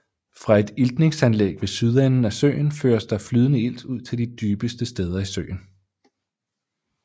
Fra et iltningsanlæg ved sydenden af søen føres der flydende ilt ud til de dybeste steder i søen